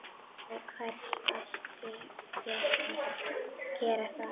Til hvers ætti ég að gera það?